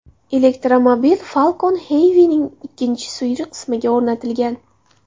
Elektromobil Falcon Heavy’ning ikkinchi suyri qismiga o‘rnatilgan.